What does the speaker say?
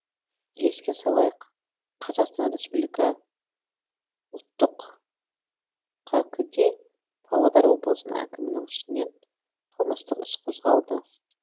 еске салайық қазақстан республика ұлттық қк де павлодар облысының әкімінің үстінен қылмыстық іс қозғалды